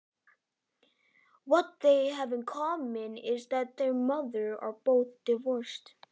Þær eiga það sameiginlegt að mæður þeirra eru báðar fráskildar.